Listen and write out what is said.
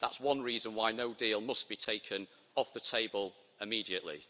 That's one reason why no deal' must be taken off the table immediately.